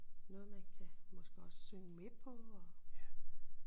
Noget man kan måske også synge med på og